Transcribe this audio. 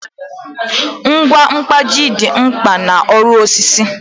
Ngwa mkpaji dị mkpa n'ọrụ osisi